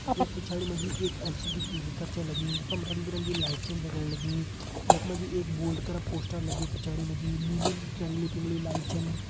यख पिछड़ि मजी एक एल.सी.डी. टी.वी. कर छै लगी यखम रंग बिरंगी लाइट छन जगन लगी यखमाजी एक बोल्ड कर पोस्टर लग्युं पिछाड़ी माझी नीली रंगली पिंगली लाइट छन |